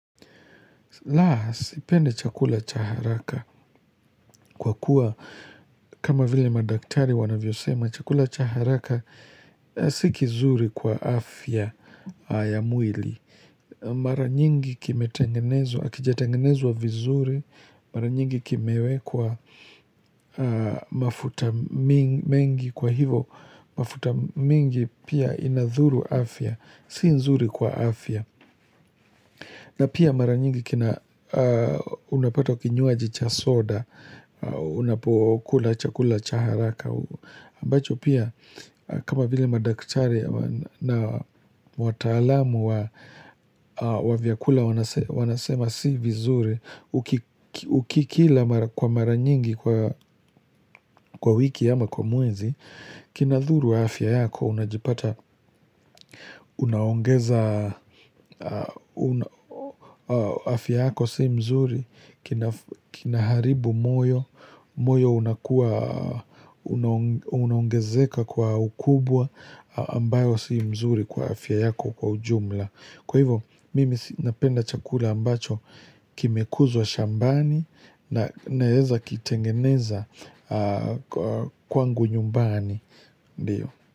La, sipendi chakula cha haraka kwa kuwa, kama vile madaktari wanavyosema, chakula cha haraka si kizuri kwa afya ya mwili. Mara nyingi kimetengenezwa, hakijatengenezwa vizuri, mara nyingi kimewekwa mafuta mingi kwa hivo, mafuta mingi pia inadhuru afya, si nzuri kwa afya. Na pia mara nyingi kina unapata kinywaji cha soda, unapokula cha kula cha haraka, ambacho pia kama vile madaktari na wataalamu wa vyakula wanasema si vizuri, Ukikila kwa mara nyingi kwa wiki ama kwa mwezi Kinadhuru afya yako unajipata unaongeza afya yako si mzuri Kinaharibu moyo moyo unakua unaongezeka kwa ukubwa ambayo si mzuri kwa afya yako kwa ujumla Kwa hivo mimi napenda chakula ambacho Kimekuzwa shambani naeza kitengeneza kwangu nyumbani ndiyo.